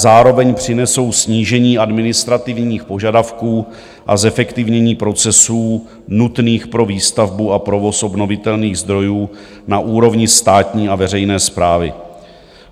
Zároveň přinesou snížení administrativních požadavků a zefektivnění procesů nutných pro výstavbu a provoz obnovitelných zdrojů na úrovni státní a veřejné správy.